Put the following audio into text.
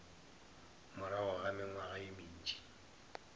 morago ga mengwaga ye mentši